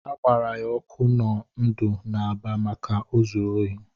A gbara ya ọkụ na ndụ n'Aba maka o zuru ohi.